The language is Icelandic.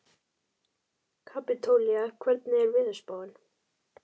Kapítóla, hvernig er veðurspáin?